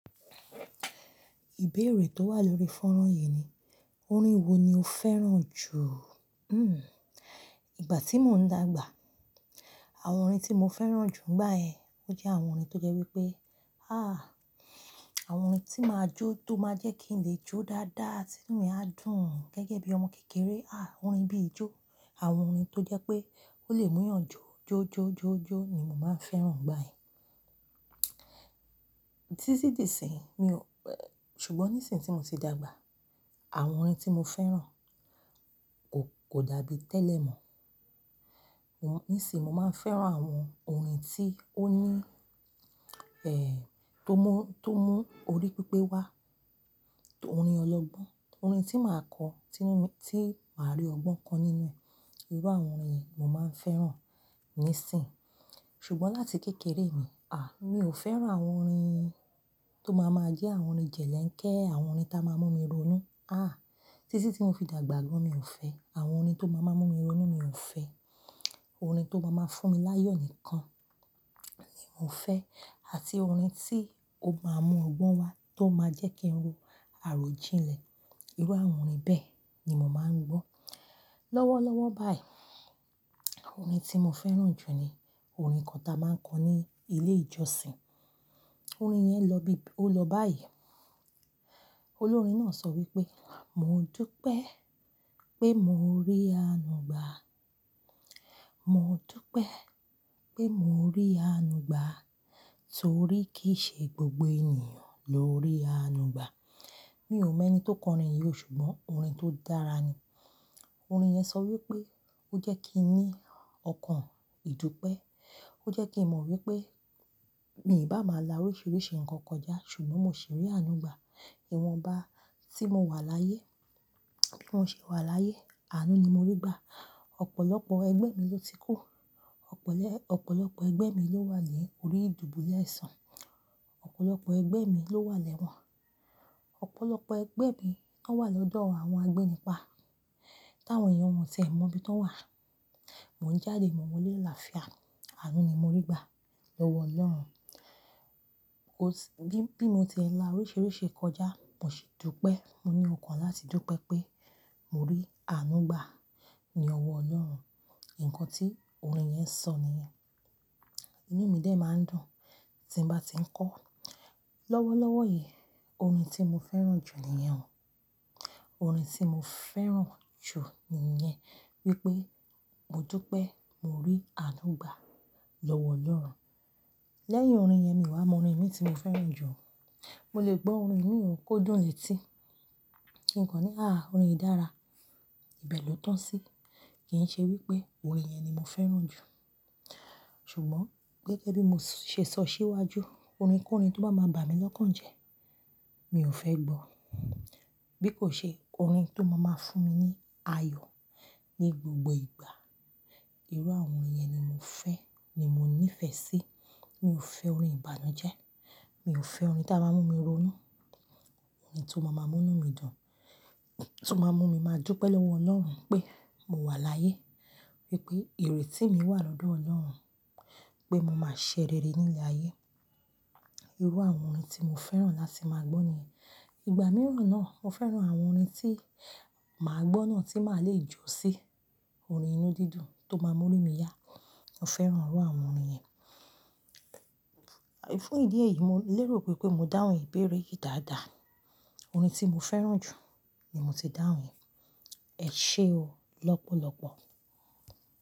Ìbéèrè tó wà lórí fọ́nrán yìí ni, orin wo ni o fẹ́ràn jù? Ìgbà tí mò ń dàgbà, àwọn orin tí mo fẹ́ràn jù nígbà yẹn, ó jẹ́ àwọn orin tó jẹ́ wípé, ah, àwọn orin tí máa jó tó máa jẹ́ kí n lè jó dáadáa, ti inú mi á dùn gẹ́gẹ́ bí ọmọ kékeré. Ah, orin bí ijó, àwọn orin tó jẹ́ pé ó lè mú èèyàn jó jó jó jó jó ni mo máa ń fẹ́ràn nígbà yẹn. Tí ti dí sì ń, mi ò-- ṣùgbọ́n ní ìsìn tí mo ti dàgbà, àwọn orin tí mo fẹ́ràn kò, kò dàbí tẹ́lẹ̀ mọ́. Wọ́n-- nísìń mo máa ń fẹ́ràn àwọn orin tí ó ní, tó mú, tó mú orí pípé wá, orin ọlọ́gbọ́n, orin tí màá kọ́, tí inú mi, tí màá rí ọgbọ́n kan nínú ẹ̀. Irú àwọn orin yìí mo máa ń fẹ́ràn nísìń. Ṣùgbọ́n láti kékeré mi, mi ò fẹ́ràn àwọn orin tó máa ma jẹ́ àwọn orin jẹ̀lẹ́ńkẹ́, àwọn orin tá máa mú mi ronú. Ah, títí tí mo fi dàgbà gan, mi ò fẹ́. Àwọn orin tó máa máa mú mi ronú, mi ò fẹ́. Orin tó máa máa fún mi láyọ̀ nìkan ni mo fẹ́ àti orin tí ó máa mú ọgbọ́n wá tó máa jẹ́ kí n ro àròjinlẹ̀. Irú àwọn orin bẹ́ẹ̀ ni mo máa ń gbọ́. Lọ́wọ́lọ́wọ́ báyìí, orin tí mo fẹ́ràn jù ni orin kan ta máa ń kọ ní ilé ìjọsìn. Orin yẹn lọ bí, ó lọ báyìí. Olórin náà sọ wípé, "Mo dúpẹ́ pé mo rí àánú gbà. Mo dúpẹ́ pé mo rí àánú gbà torí kì í ṣe gbogbo ènìyàn ló rí àánú gbà." Mi ò mọ ẹni tó kọ orin yìí o ṣùgbọ́n orin tó dára ni. Orin yẹn sọ wípé ó jẹ́ kí n ní ọkàn ìdúpẹ́. Ó jẹ́ kí n mo wípé, mì bá máa la oríṣìríṣì ǹnkan kọjá ṣùgbọ́n mò ṣì rí àánú gbà. Ìwọ̀nba tí mo wà láyé, bí mo ṣe wà láyé, àánú ni mo rí gbà. Ọ̀pọ̀lọpọ̀ ẹgbẹ́ mi ló ti kú. Ọ̀pọ̀lẹ́, ọ̀pọ̀lọpọ̀ ẹgbẹ́ mi ló wà ní orí ìdúbulẹ̀ àìsàn. Ọ̀pọ̀lọpọ̀ ẹgbẹ́ mi ló wà lẹ́wọ̀n. Ọ̀pọ̀lọpọ̀ ẹgbẹ́ mi la ń wà lọ́dọ̀ àwọn agbẹ́nipa táwọn èèyàn wọ́n tì ẹ̀ mọ ibí tọ́n wà. Mò ń jáde mò ń wọlé làlàáfíà àánú ni mo rí gbà lọ́wọ́ Ọlọ́run. Ó sì, bí, bí mo ti ń la oríṣìríṣí kọjá, mò sì dúpẹ́. Mo ní ọkàn láti dúpẹ́ pé mo rí àánú gbà lọ́wọ́ Ọlọ́run. Ǹnkan tí orin yẹn sọ nìyẹn. Inú mi dè máa ń dùn tí n bá ti ń kọ́. Lọ́wọ́lọ́wọ́ yìí, orin tí mo fẹ́ràn jù nìyẹn o. Orin tí mo fẹ́ràn jù nìyẹn wípé, mo dúpẹ́ mo rí àánú gbà lọ́wọ́ Ọlọ́run. Lẹ́yìn orin yẹn mi wá mo orin mìí tí mo fẹ́ràn jù. Mo lè gbọ́ orin mìí ó kó dùn létí. Ǹnkan ní, ah orin e dára, ibẹ̀ ló tàn sí. Kì í ṣe wípé orin yẹn ni mo fẹ́ràn jù. Ṣùgbọ́n gẹ́gẹ́ bí mo ṣe sọ síwájú, orin ko orin tó bá máa bà mí lọ́kàn jẹ, mi ò fẹ́ gbọ́. Bí kò ṣe orin tó máa máa fún mi ní ayọ̀ ní gbogbo ìgbà. Irú àwọn orin yẹn ni mo fẹ́, ni mo ní ìfẹ́ sí. Mi ò fẹ́ orin ìbànújẹ́. Mi ò fẹ́ orin tá máa mú mi ronú. Orin tí ó máa máa mú inú mi dùn, tí ó máa mú mi máa dúpẹ́ lọ́wọ́ Ọlọ́run pé mo wà láyé, wípé ìrètí mi wà lọ́dọ̀ Ọlọ́run, pé mo máa ṣerere ní ilẹ̀ ayé. Irú àwọn orin tí mo fẹ́ràn láti máa gbọ́ ni. Ìgbà mìíràn náà, mo fẹ́ràn àwọn orin tí màá gbọ́ náà tí màá le jó sí, orin inú dídùn tó máa mú ínú mi yá. Mo fẹ́ràn irú àwọn orin yẹn. Fún ìdí èyí, mo lérò pé pé mo dáhùn ìbéèrè yìí dáadáa. Orin tí mo fẹ́ràn jù ni mo ti dáhùn. Ẹ ṣé o lọ́pọ̀lọpọ̀.